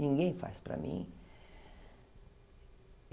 Ninguém faz para mim.